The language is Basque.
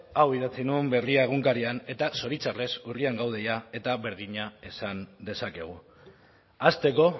hau idatzi nuen berria egunkarian eta zoritxarrez urrian gaude jada eta berdina esan dezakegu hasteko